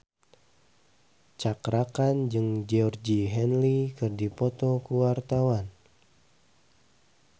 Cakra Khan jeung Georgie Henley keur dipoto ku wartawan